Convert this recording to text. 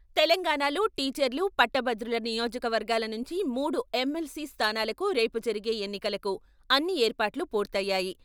తెలంగాణాలో టీచర్లు, పట్టభద్రుల నియోజకవర్గాల నుంచి మూడు ఎమ్.ఎల్.సి స్థానాలకు రేపు జరిగే ఎన్నికలకు అన్ని ఏర్పాట్లు పూర్తయ్యాయి.